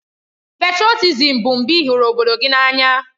Pètrotizim bụ mgbe ị hụrụ obodo gị n'anya